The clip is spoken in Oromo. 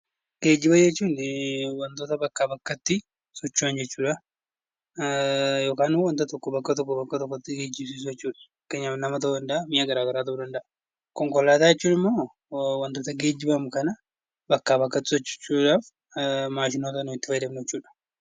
Geejjiba jechuun wantoota bakkaa bakkatti socho'an jechuudha. Yookaan immoo wanta tokko bakka tokkoo bakka biraatti geessuu jechuudha fakkeenyaaf nama ta'uu danda'a mi'a garaagaraa ta'uu danda'a. Konkolaataa jechuun immoo wantoota geejjibaaf nu gargaaran bakkaa bakkatti socho'uudhaaf maashinoota nuyi itti fayyadamnu jechuudha.